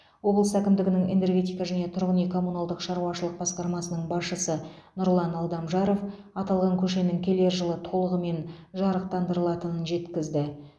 облыс әкімдігінің энергетика және тұрғын үй коммуналдық шаруашылық басқармасының басшысы нұрлан алдамжаров аталған көшенің келер жылы толығымен жарықтандырылатынын жеткізді